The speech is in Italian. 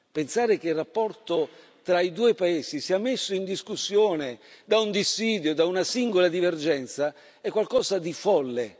Pensare che il rapporto tra i due paesi sia messo in discussione da un dissidio, da una singola divergenza, è qualcosa di folle.